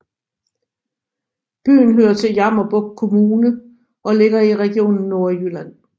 Byen hører til Jammerbugt Kommune og ligger i Region Nordjylland